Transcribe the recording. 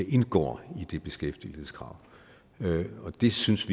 indgår i det beskæftigelseskrav og vi synes